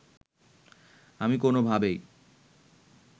আমি কোনোভাবেই